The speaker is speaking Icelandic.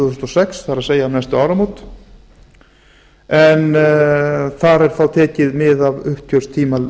þúsund og sex það er næstu áramót en þar er þó tekið mið af uppgjörstímabili